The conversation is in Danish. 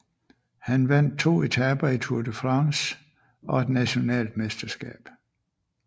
Han vandt 2 etaper i Tour de France og et national mesterskab